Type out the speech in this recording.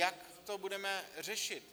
Jak to budeme řešit?